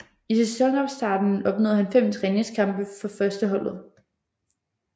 I sæsonopstarten opnåede han fem træningskampe for førsteholdet